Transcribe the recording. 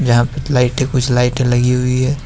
यहां पे लाइटें कुछ लाइटें लगी हुई है।